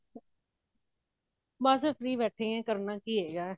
ਬਸ free ਬੈਠੀ ਹਾਂ ਕਰਨਾ ਕੀ ਹੈ ਯਾਰ